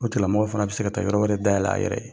O tigilamɔgɔ fana bɛ se ka taa yɔrɔ wɛrɛ dayɛlɛ a yɛrɛ ye.